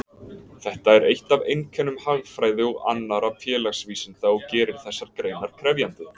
Þetta er eitt af einkennum hagfræði og annarra félagsvísinda og gerir þessar greinar krefjandi.